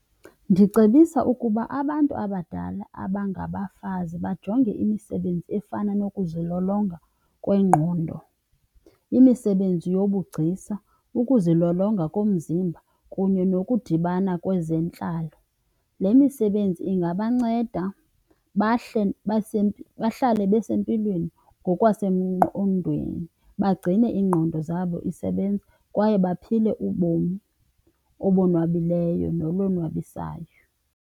Ndicebisa ukuba abantu abadala abangabafazi bajonge imisebenzi efana nokuzilolonga kwengqondo, imisebenzi yobugcisa, ukuzilolonga komzimba kunye nokudibana kwezentlalo. Le misebenzi ingabanceda bahle , bahlale besempilweni ngokwasengqondweni, bagcine iingqondo zabo isebenza kwaye baphile ubomi obonwabileyo nolonwabisayo.